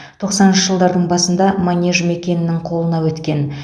тоқсаныншы жылдардың басында манеж жекенің қолына өткен